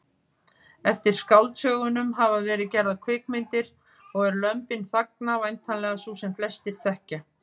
Eftir skáldsögunum hafa verið gerðar kvikmyndir og er Lömbin þagna væntanlega sú sem flestir þekkja.